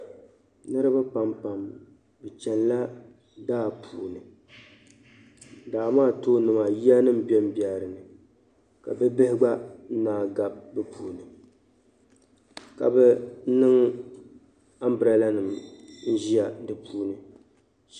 Niriba pam pam bɛ chɛnila daa puuni daa maa tooni maa ya nima n be n be di ni Ka bibihi gba naan yigabi bɛ puuni ka bɛ niŋ umbraalanim n ziya di puuni